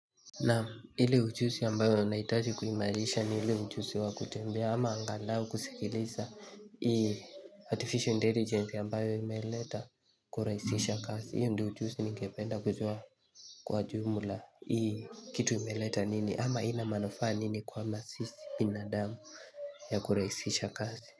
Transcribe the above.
Nam ile ujuzi ambayo nahitaji kuimarisha ni ile ujuzi wa kutembea ama angalau kusikiliza ii Artificial Intelligence ambayo imeleta kurahishisha kazi hiyo ndo ujuzi ningependa kujua kwa jumla hii kitu imeleta nini ama ina manufaa nini kuhamasisha binadamu ya kurahishisha kasi.